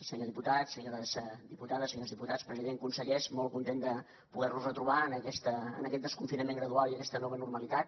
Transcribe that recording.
senyor diputat senyores diputades senyors diputats president consellers molt content de poder los retrobar en aquest desconfinament gradual i aquesta nova normalitat